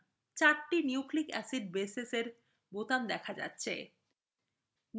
চারটি nucleic acid bases বোতাম হিসেবে দেখা যাচ্ছে